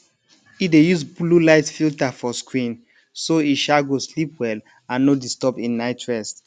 e dey use bluelight filter for screen so e um go sleep well and no disturb im night rest